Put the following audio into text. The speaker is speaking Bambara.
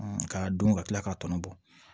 k'a dun ka kila k'a tɔnɔ bɔ